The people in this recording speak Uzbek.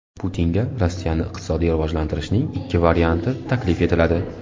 Putinga Rossiyani iqtisodiy rivojlantirishning ikki varianti taklif etiladi.